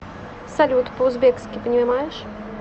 салют по узбекски понимаешь